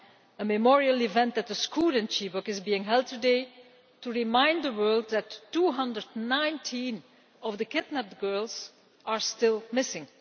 A memorial event at the school in Chibok is being held today to remind the world that 219 of the kidnapped girls are still missing.